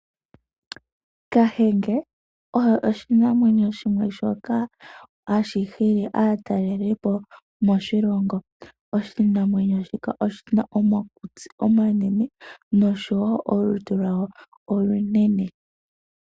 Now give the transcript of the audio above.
Kahenge oye oshimamwenyo shimwe shoka hashi hili aatalelipo moshilongo . Oshimamwenyo shika oshina omakutsi omanene nosho woo olutu lwayo olunene .